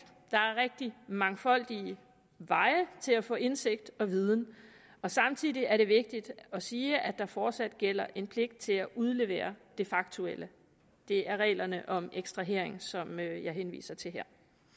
der er mangfoldige veje til at få indsigt og viden og samtidig er det vigtigt at sige at der fortsat gælder en pligt til at udlevere det faktuelle det er reglerne om ekstrahering som jeg henviser til her